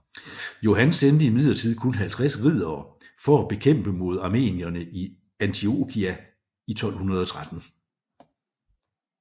Johan sendte imidlertid kun 50 riddere for at bekæmpe mod armenierne i Antiokia i 1213